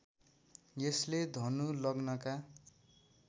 यसले धनु लग्नका